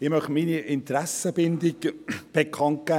Ich gebe meine Interessenbindung bekannt: